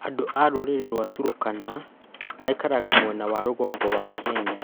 Andũ a rũrĩrĩ rwa Turkana maikaraga mwena wa rũgongo wa Kenya.